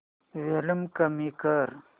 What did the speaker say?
volume कमी कर